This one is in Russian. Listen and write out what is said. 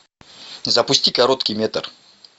запусти короткий метр